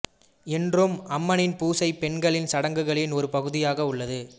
இன்றும் அம்மனின் பூசை பெண்களின் சடங்குகளின் ஒரு பகுதியாக உள்ளது